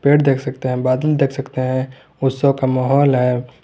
पेड़ देख सकते हैं बादल देख सकते हैं उत्सव का माहौल है।